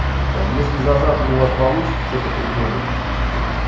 там если за завтра у вас получится что-то придумать